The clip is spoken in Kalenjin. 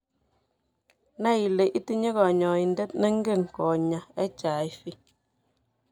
Nai ile itinye kanyoindet neng'en konyaa HIV